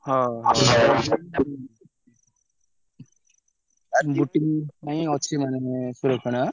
ହଁ boating ପାଇଁ ଅଛି ମାନେ ସୁରକ୍ଷଣ ଆଁ?